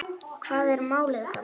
Hvað er málið, gamli?